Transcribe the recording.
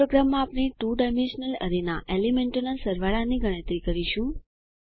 આ પ્રોગ્રામમાં આપણે 2 ડાયમેન્શનલ એરેના એલીમેન્ટોના સરવાળાની ગણતરી કરીશું